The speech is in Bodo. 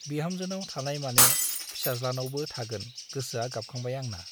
बिहामजोनाव थानाय माने फिसाज्लानावबो थागोन गोसोआ गाबखांबाय आंना ।